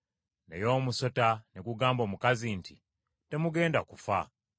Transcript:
Naye omusota ne gugamba omukazi nti, “Temugenda kufa.